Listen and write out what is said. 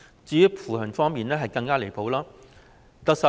至於扶貧方面，情況更是離譜。